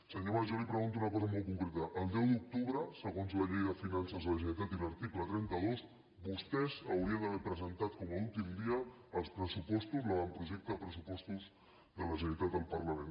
senyor mas jo li pregunto una cosa molt concreta el deu d’octubre segons la llei de finances de la generalitat i l’article trenta dos vostès haurien d’haver presentat com a últim dia els pressupostos l’avantprojecte de pressupostos de la generalitat al parlament